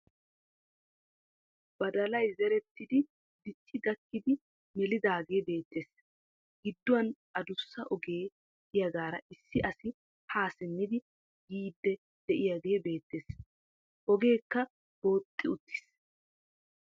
Badalay zerettidi dicci gakkidi melidaage beettees. Gidduwan addussa ogee de'iyagaara issi asi ha simmidi yiidi de'iyagee beettees. Ogeekka booxxi uttiis.